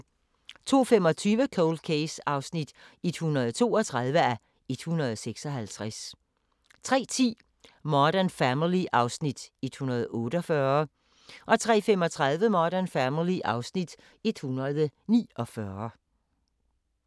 02:25: Cold Case (132:156) 03:10: Modern Family (Afs. 148) 03:35: Modern Family (Afs. 149)